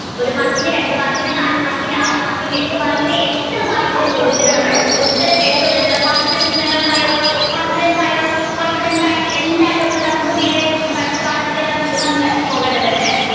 ഒരു മാർക്കിന് രണ്ടു മാർക്കിന് നാലു മാർക്കിന് ആറു മാർക്കിന് എട്ട് മാർക്കിന് എത്ര മാർക്കിന്റെ ചോദ്യത്തിനും ഉത്തരം എഴുത്തും എന്നുള്ള confidence നിങ്ങൾക്കായോ confidence ആയോ confidence ആയെങ്കിൽ എല്ലാവരും ഒന്ന് thumbs up ചെയ്തേ നമ്മുക്ക് അടുത്ത പാഠത്തിലേക്ക് നമ്മുക്ക് പോകേണ്ടതുണ്ട്.